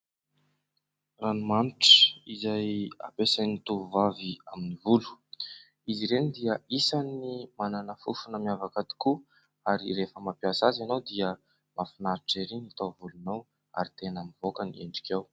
Ranomanitra izay ampesain'ny tovovavy amin'ny volo. Izy ireny dia isan'ny manana fofona miavaka tokoa ary rehefa mampiasa azy ianao dia mahafinaritra ery ny taovolonao ary tena mivoaka ny endrikao.